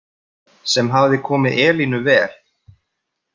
Sem hafði komið Elínu vel.